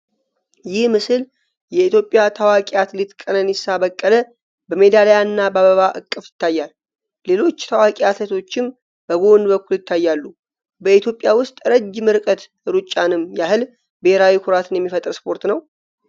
ይህ ምስል የኢትዮጵያ ታዋቂ አትሌት ቀነኒሳ በቀለ በሜዳሊያና በአበባ እቅፍ ይታያል። ሌሎች ታዋቂ አትሌቶችም በጎን በኩል ይታያሉ። በኢትዮጵያ ውስጥ ረጅም ርቀት ሩጫምን ያህል ብሔራዊ ኩራት የሚፈጥር ስፖርት ነው?